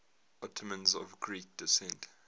ottomans of greek descent